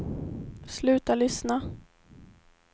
sluta lyssna